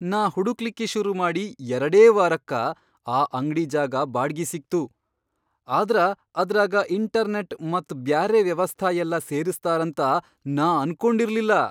ನಾ ಹುಡಕ್ಲಿಕ್ಕಿ ಶುರುಮಾಡಿ ಎರಡೇ ವಾರಕ್ಕ ಆ ಅಂಗ್ಡಿ ಜಾಗ ಬಾಡ್ಗಿ ಸಿಕ್ತು, ಆದ್ರ ಅದ್ರಾಗ ಇಂಟರ್ನೆಟ್ ಮತ್ ಬ್ಯಾರೆ ವ್ಯವಸ್ಥಾ ಯೆಲ್ಲಾ ಸೇರಸ್ತಾರಂತ ನಾ ಅನ್ಕೊಂಡಿರ್ಲಿಲ್ಲಾ.